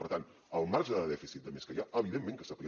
per tant el marge de dèficit de més que hi ha evidentment que s’aplica